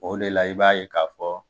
O de la i b'a ye k'a fɔ